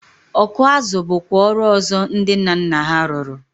Ọkụ azụ bụkwa ọrụ ọzọ ndị nna nna ha rụrụ.